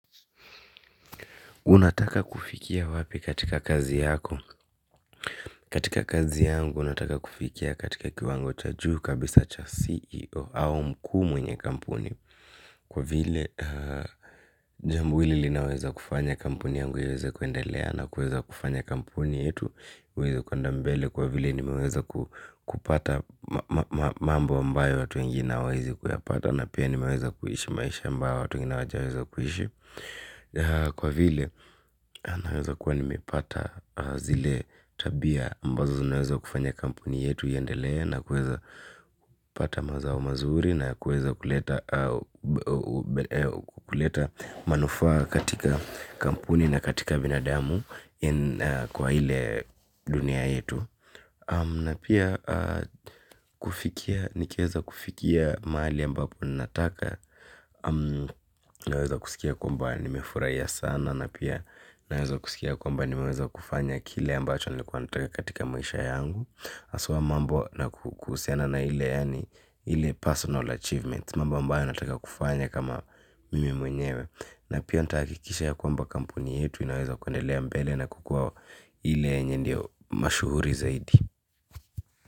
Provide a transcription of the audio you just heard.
Unataka kufikia wapi katika kazi yako? Katika kazi yangu nataka kufikia katika kiwango cha juu kabisa cha CEO au mkuu mwenye kampuni. Kwa vile jambo hili linaweza kufanya kampuni yangu iweze kuendelea na kuweza kufanya kampuni yetu kwenda mbele kwa vile nimeweza kupata mambo ambayo watu wengie hawaezi kuyapata. Na pia nimeweza kuishi maisha ambayo watu wengine hawajaweza kuishi. Kwa vile, nameweza kuwa nimepata zile tabia ambazo zinaweza kufanya kampuni yetu iendelee na kueza pata mazao mazuri na kueza kuleta kuleta manufaa katika kampuni na katika binadamu, kwa ile dunia yetu. Na pia, kufikia nikiweza kufikia mahali ambapo nataka naweza kusikia kwamba nimefurahia sana, na pia naweza kusikia kwamba nimeweza kufanya kile ambacho nilikuwa nataka katika maisha yangu, haswa mambo na kuhusiana na ile 'personal achievements' mambo ambayo nataka kufanya kama mimi mwenyewe. Na pia nitahakikisha ya kwamba kampuni yetu tunaweza kuendelea mbele na kukuwa, ile yenye ndio mashuhuri zaidi.